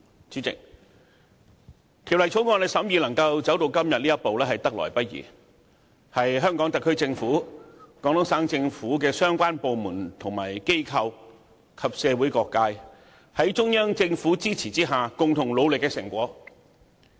主席，《條例草案》審議能夠走到今天這一步，實在得來不易，是香港特區政府、廣東省政府相關部門和機構及社會各界，在中央政府支持下共同努力的成果。